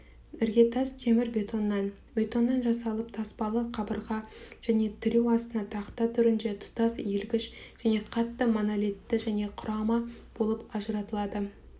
іргетас темір-бетоннан бетоннан жасалып таспалы қабырға және тіреу астына тақта түрінде тұтас иілгіш және қатты монолитті және құрама болып ажыратылады